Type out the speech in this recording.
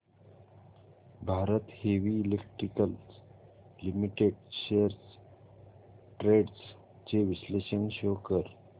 Bharat heavy electricals limited shares trends चे विश्लेषण show कर